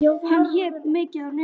Hann hékk mikið á netinu.